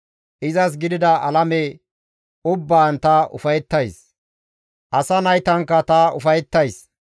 Izas gidida alame ubbaan ta ufayettays; asaa naytankka ta ufayettays.